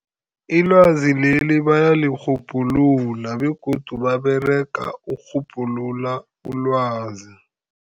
Ilwazi leli bayalirhubhulula, begodu baberega ukurhubhulula ilwazi.